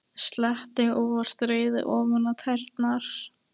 Sletti óvart rauðu ofan á tærnar.